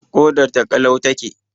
Ƙodar ta ƙalau ta ke